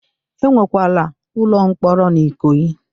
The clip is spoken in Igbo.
E nwekwara ụlọ mkpọrọ n'Ikoyi.